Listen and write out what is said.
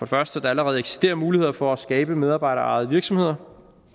første at der allerede eksisterer muligheder for at skabe medarbejderejede virksomheder